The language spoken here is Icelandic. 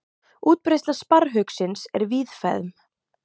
útbreiðsla sparrhauksins er víðfeðm